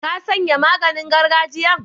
Ka sanye maganin gargajiyan?